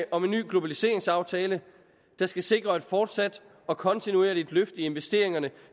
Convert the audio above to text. om en ny globaliseringsaftale der skal sikre et fortsat og kontinuerligt løft i investeringerne